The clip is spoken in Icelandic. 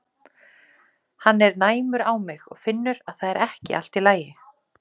Hann er næmur á mig og finnur að það er ekki allt í lagi.